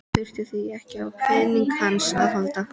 Hún þurfi því ekkert á peningunum hans að halda.